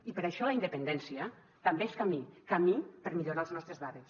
i per això la independència també és camí camí per millorar els nostres barris